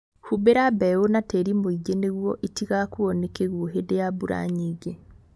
Humbĩra mbeũ na tĩri mũingĩ nĩguo itigakuo nĩ kĩguo hĩndĩ ya mbura nyingĩ